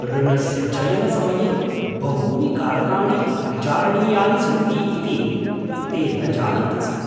ऋणस्य चयनसमये बहूनि कारकाणि विचारणीयानि सन्ति इति ते न जानन्ति स्म!